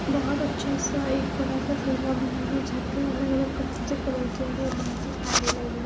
बहुत अच्छा सा एक बड़ा सा बना हुआ है छत पे अलग अलग कलर से कलर किया गया है लगी हुई--